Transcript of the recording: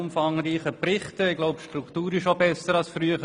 Auch die Struktur ist besser als früher.